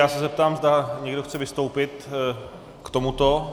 Já se zeptám, zda někdo chce vystoupit k tomuto.